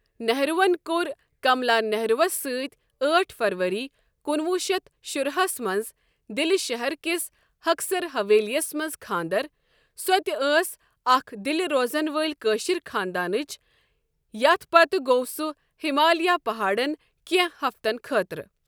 نِہروٗ وَن کۆر کَمَلا نِہروٗ وَس سٟتۍ أٹھ فَرؤری کُنوُہ شیتھ شراہ ہس مَنٛز دِل شَہَر کِس ہَکسَر ہَویلی یَس مَنٛز کھانٛدَر سۄ تہِ أس اَکھ دِلہِ روزَن وٲلؠ کٲشِرؠ خاندانٕچ یَتھ پَتہٕ گۆو سُہ ہِمالیَہ پَہاڑَن کێنٛہہ ہَفتَن خٲطرٕ۔